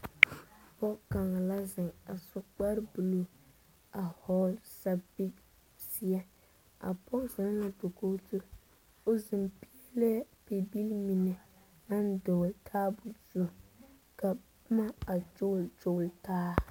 Pɔgɔ kanga la zeŋ a su kpar buluu a vogle sapil zie. A pɔgɔ zeŋ la dakoge zu. O zeŋ piele bibil mene na dogle daabu zu. Ka boma a gyogle gyogle taa